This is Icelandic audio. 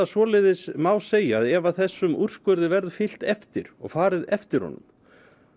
svoleiðis má segja ef þessum úrskurði verður fyllt eftir og farið eftir honum